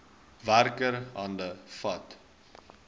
werker hande vat